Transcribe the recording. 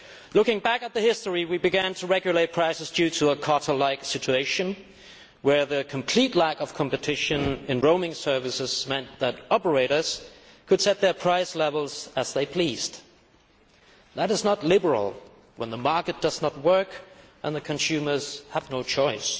Looking back at the history, we began to regulate prices due to a cartel like situation, where complete lack of competition in roaming services meant that operators could set their price levels as they pleased. It is not liberal when the market does not work and the consumers have no choice.